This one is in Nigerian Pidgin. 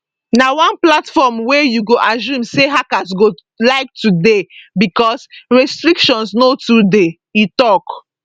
na one platform wey you go assume say hackers go like to dey use bicos restrictions no too dey e tok